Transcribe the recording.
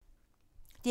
DR P3